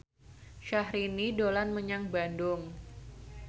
Syahrini dolan menyang Bandung